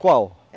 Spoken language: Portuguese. Qual?